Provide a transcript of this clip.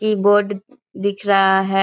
Keyboard दिख रहा है।